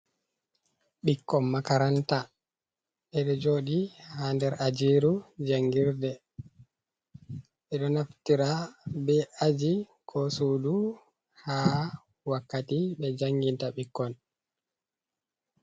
Ɓikkon makaranta: Ɓedo jodi ha nder ajiru jangirde. Ɓe ɗo naftira be aji ko sudu ha wakkati ɓe jangita ɓikkon.